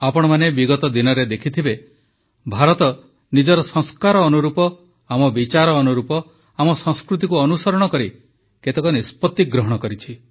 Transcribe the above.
ଆପଣମାନେ ବିଗତ ଦିନରେ ଦେଖିଥିବେ ଭାରତ ନିଜର ସଂସ୍କାର ଅନୁରୂପ ଆମ ବିଚାର ଅନୁରୂପ ଆମ ସଂସ୍କୃତିକୁ ଅନୁସରଣ କରି କେତେକ ନିଷ୍ପତ୍ତି ଗ୍ରହଣ କରିଛି